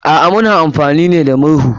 A'a, muna amfani ne da murhu.